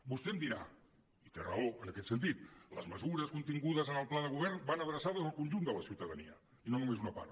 vostè em dirà i té raó en aquest sentit les mesures contingudes en el pla de govern van adreçades al conjunt de la ciutadania i no només a una part